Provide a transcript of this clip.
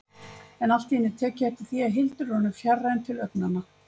En allt í einu tek ég eftir því að Hildur er orðin fjarræn til augnanna.